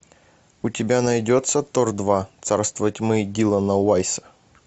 у тебя найдется тор два царство тьмы дилана уайса